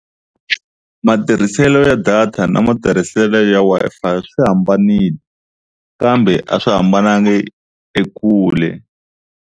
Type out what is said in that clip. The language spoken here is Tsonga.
Matirhiselo ya data na matirhiselo ya Wi-Fi swi hambanile kambe a swi hambanangi ekule.